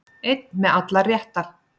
Einn með allar réttar